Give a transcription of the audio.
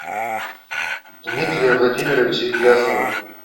дмитрия владимировича ильясова